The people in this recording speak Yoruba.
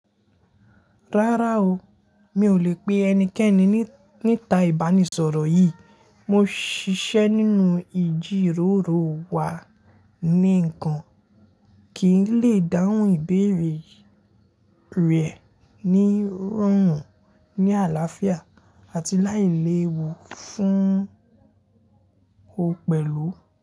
Rárá o, mi ò lè pe ẹnikẹ́ni níta ìbánisọ̀rọ̀ yìí. Mo ṣiṣẹ́ nínú ìjíròrò wa ni nǹkan kì í lè dáhùn ìbéèrè rẹ̀ ní rọrùn, ní àlàáfíà àti láì léwu fún ó pẹ̀lú.